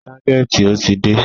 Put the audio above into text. Ságẹ̀ntì ò tí dé.